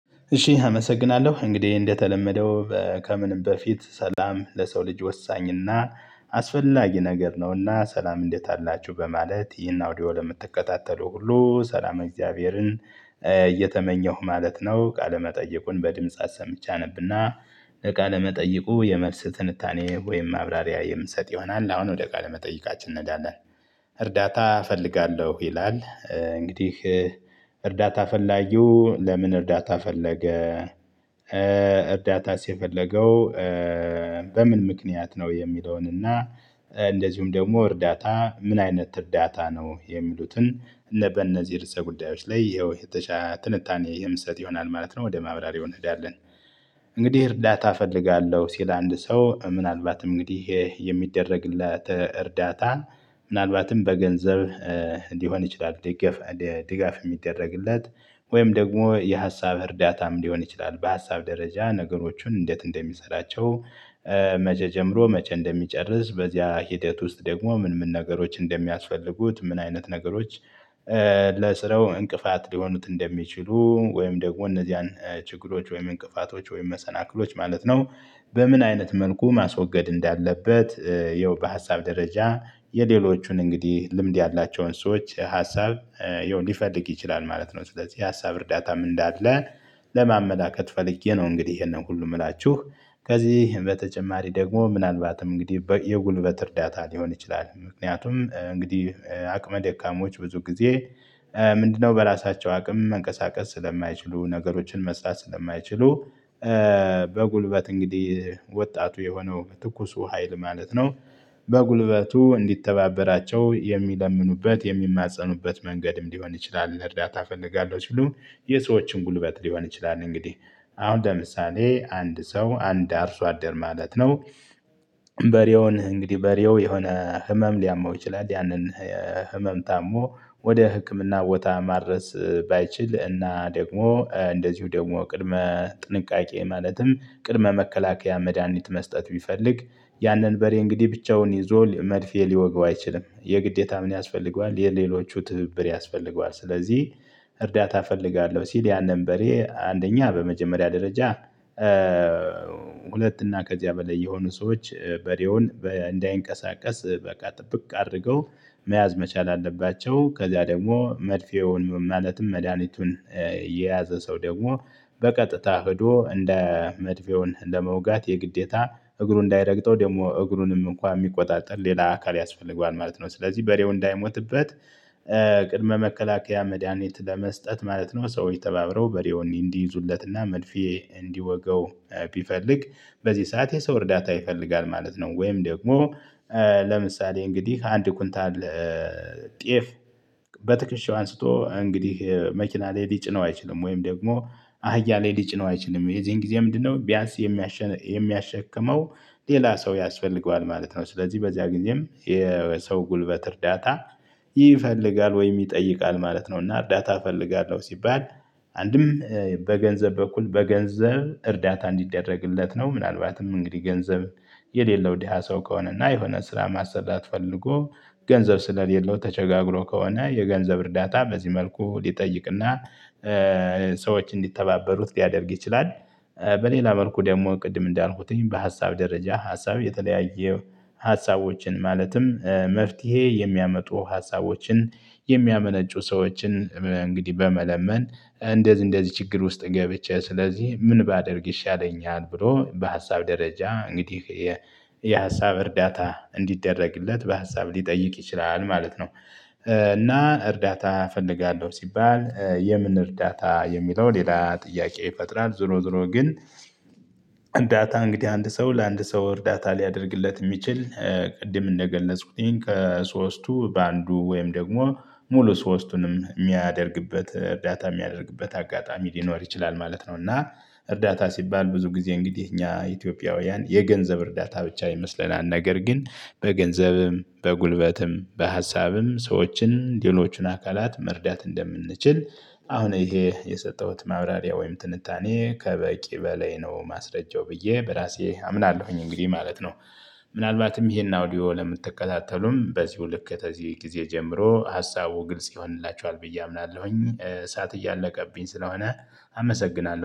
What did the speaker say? እሺ አመሰግናለሁ እንግዲህ እንደተለመደው ከምንም በፊት ሰላም ለሰው ልጅ ወሳኝና አስፈላጊ ነገር ነውና ሰላም እንዴት አላችሁ በማለት ይህን አውዲዮ ለምትከታተሉ ሁሉ ሰላም እግዚአብሔርን እየተመኘሁ ማለት ነው። ቃለመጠይቁን በድምጽ አሰምቼ አነብና ቃለመጠይቁ የመልስ ትንታኔ ወይም ማብራሪያ የምሰጥ ይሆናል አሁን ወደ ቃለ መጠይቃችን እንሄዳለን። እርዳታ እፈልጋለሁ ይላል እንግዲህ እርዳታ ፈላጊው ለምን እርዳታ ፈለገ? እርዳታስ የፈለገው በምን ምክንያት ነው የሚለውን? እና ደግሞ እርዳታ ምን አይነት እርዳታ ነው የሚሉትን? እነ በእነዚህ ርዕሰ ጉዳዮች ላይ ይኸው የተሻለ ትንታኔ የምሰጥ ይሆናል ማለት ነው ወደ ማብራሪው እንሄዳለን። እንግዲህ እርዳታ እፈልጋለሁ ሲል አንድ ሰው ምናልባትም እንግዲህ የሚደረግላት እርዳታ። ምናልባትም በገንዘብ ሊሆን ይችላል። ዴገፍ ድጋፍ የሚደረግለት ወይም ደግሞ የሀሳብ እርዳታም ሊሆን ይችላል በሀሳብ ደረጃ ነገሮቹን እንዴት እንደሚሰራቸው። መቼ ጀምሮ መቼ እንደሚጨርስ በዚያ ሂደት ውስጥ ደግሞ ምን ምን ነገሮች እንደሚያስፈልጉት ምን አይነት ነገሮች። ለስራው እንቅፋት ሊሆኑት እንደሚችሉ ወይም ደግሞ እነዚያን ችግሮች ወይም እንቅፋቶች ወይም መሰናክሎች ማለት ነው። በምን አይነት መልኩ ማስወገድ እንዳለበት ይኸው በሀሳብ ደረጃ የሌሎቹን እንግዲህ ልምድ ያላቸውን ሰዎች ሀሳብ ያው ሊፈልግ ይችላል ማለት ነው። ስለዚህ የሀሳብ እርዳታም እንዳለ ለማመላከት ፈልጌ ነው። እንግዲህ ይሄንን ሁሉ የምላችሁ ከዚህ በተጨማሪ ደግሞ ምናልባትም እንግዲህ የጉልበት እርዳታ ሊሆን ይችላል። ምክንያቱም እንግዲህ አቅመ ደካሞች ብዙ ጊዜ ምንድነው በራሳቸው አቅም መንቀሳቀስ ስለማይችሉ ነገሮችን መስራት ስለማይችሉ። በጉልበት እንግዲህ ወጣቱ የሆነው ትኩሱ ሀይል ማለት ነው። በጉልበቱ እንዲተባበራቸው የሚለምኑበት የሚማፀኑበት መንገድም ሊሆን ይችላል። እርዳታ እፈልጋለሁ ሲሉ የሰዎችን ጉልበት ሊሆን ይችላል። እንግዲህ አሁን ለምሳሌ አንድ ሰው አንድ አርሶ አደር ማለት ነው። በሬውን እንግዲህ በሬው የሆነ ህመም ሊያመው ይችላል። ያንን ህመም ታሞ ወደ ህክምና ቦታ ማድረስ ባይችል እና ደግሞ እንደዚሁ ደግሞ ቅድመ ጥንቃቄ ማለትም ቅድመ መከላከያ መድሃኒት መስጠት ቢፈልግ ያንን በሬ እንግዲህ ብቻውን ይዞ መርፌ ሊወጋው አይችልም። የግዴታ ምን ያስፈልገዋል የሌሎቹ ትብብር ያስፈልገዋል። ስለዚህ እርዳታ እፈልጋለሁ ሲል ያንን በሬ አንደኛ በመጀመሪያ ደረጃ ሁለት እና ከዚያ በላይ የሆኑ ሰዎች በሬውን እንዳይንቀሳቀስ በቃ ጥብቅ አድርገው መያዝ መቻል አለባቸው። ከዛ ደግሞ መርፌውን ማለትም መድሃኒቱን የያዘ ሰው ደግሞ በቀጥታ ሄዶ እንደ መርፌውን ለመውጋት የግዴታ እግሩ እንዳይረግጠው ደግሞ እግሩንም እንኳን የሚቆጣጠር ሌላ አካል ያስፈልገዋል ማለት ነው። ስለዚህ በሬው እንዳይሞትበት ቅድመ መከላከያ መድሃኒት ለመስጠት ማለት ነው። ሰውች ተባብረው በሬውን እንዲይዙለትና መድፌ እንዲወጋው ቢፈልግ በዚህ ሰዓት የሰው እርዳታ ይፈልጋል ማለት ነው። ወይም ደግሞ ለምሳሌ እንግዲህ አንድ ኩንታል ጤፍ በትከሻው አንስቶ እንግዲህ መኪና ላይ ሊጭነው አይችልም። ወይም ደግሞ አህያ ላይ ሊጭነው አይችልም። የዚህን ጊዜ ምንድነው ቢያንስ የሚያሸክመው ሌላ ሰው ያስፈልገዋል ማለት ነው። ስለዚህ በዚያ ጊዜም የሰው ጉልበት እርዳታ ይፈልጋል ወይም ይጠይቃል ማለት ነው። እና እርዳታ እፈልጋለሁ ሲባል አንድም በገንዘብ በኩል በገንዘብ እርዳታ እንዲደረግለት ነው። ምናልባትም እንግዲህ ገንዘብ የሌለው ዳሃ ሰው ከሆነና የሆነ ስራ ማሰራት ፈልጎ ገንዘብ ስለሌለው ተቸጋግሮ ከሆነ የገንዘብ እርዳታ በዚህ መልኩ ሊጠይቅና ሰዎች እንዲተባበሩት ሊያደርግ ይችላል። በሌላ መልኩ ደግሞ ቅድም እንዳልኩትኝ በሀሳብ ደረጃ ሀሳብ የተለያየ ሀሳቦችን ማለትም መፍትሄ የሚያመጡ ሀሳቦችን የሚያመነጩ ሰዎችን እንግዲህ በመለመን እንደዚህ እንደዚህ ችግር ውስጥ ገብቼ ስለዚህ ምን ባደርግ ይሻለኛል ብሎ በሀሳብ ደረጃ እንግዲህ የሀሳብ እርዳታ እንዲደረግለት በሀሳብ ሊጠይቅ ይችላል ማለት ነው። እና እርዳታ እፈልጋለሁ ሲባል የምን እርዳታ የሚለው ሌላ ጥያቄ ይፈጥራል። ዙሮ ዙሮ ግን እርዳታ እንግዲህ አንድ ሰው ለአንድ ሰው እርዳታ ሊያደርግለት የሚችል ቅድም እንደገለጽኩት ከሶስቱ በአንዱ ወይም ደግሞ ሙሉ ሶስቱንም የሚያደርግበት እርዳታ የሚያደርግበት አጋጣሚ ሊኖር ይችላል ማለት ነው። እና እርዳታ ሲባል ብዙ ጊዜ እንግዲህ እኛ ኢትዮጵያውያን የገንዘብ እርዳታ ብቻ ይመስለናል። ነገር ግን በገንዘብም በጉልበትም በሀሳብም ሰዎችን ሌሎቹን አካላት መርዳት እንደምንችል አሁን ይሄ የሰጠሁት ማብራሪያ ወይም ትንታኔ ከበቂ በላይ ነው። ማስረጃው ብዬ በራሴ አምናለሁኝ እንግዲህ ማለት ነው። ምናልባትም ይሄን አውዲዮ ለምትከታተሉም በዚሁ ልክ ከዚህ ጊዜ ጀምሮ ሀሳቡ ግልጽ ይሆንላቸዋል ብዬ አምናለሁኝ። ሰዓት እያለቀብኝ ስለሆነ አመሰግናለሁ